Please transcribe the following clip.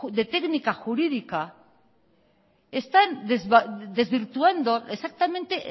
de técnica jurídica están desvirtuando exactamente